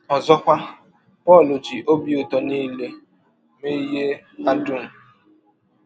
Ọzọkwa, Pọl ji “ ọbi ụtọ nile ” mee ihe a dụm.